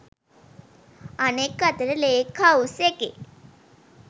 අනෙක් අතට lake house එකේ